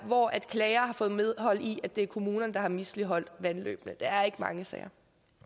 hvor en klager får medhold i at det er kommunen der har misligholdt vandløbene det er ikke mange sager